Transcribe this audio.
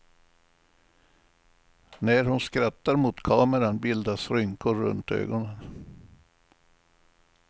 När hon skrattar mot kameran bildas rynkor runt ögonen.